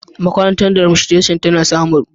Makarantar Demostration tana samaru.